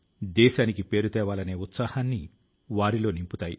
శాస్త్రవేత్తల పై ఉన్న నమ్మకాన్ని చూపుతుంది